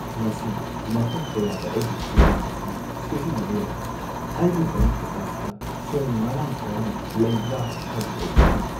ꯉꯁꯤ ꯃꯐꯝ ꯀꯌꯥꯗ ꯑꯩꯒꯤ ꯀ꯭ꯔꯦꯗꯤꯠ ꯑꯁꯤ ꯁꯤꯖꯤꯟꯅꯕ ꯌꯥꯗꯦ꯫ ꯑꯩꯒꯤ ꯕꯦꯡꯛ ꯑꯦꯀꯥꯎꯟꯠꯇ ꯁꯦꯜ ꯃꯔꯥꯡ ꯀꯥꯏꯅ ꯂꯩꯕ꯭ꯔꯥ ꯍꯥꯏꯕꯗꯨ ꯑꯩ ꯈꯪꯗꯦ꯫